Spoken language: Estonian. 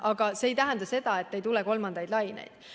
Aga see ei tähenda, et ei tule kolmandaid laineid.